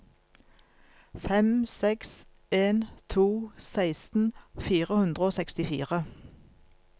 fem seks en to seksten fire hundre og sekstifire